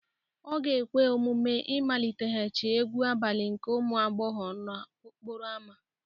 Ọ ga-ekwe omume ịmaliteghachi egwu abalị nke ụmụ agbọghọ n'okporo ámá